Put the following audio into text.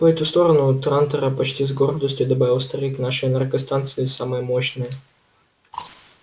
по эту сторону трантора почти с гордостью добавил старик наши энергостанции самые мощные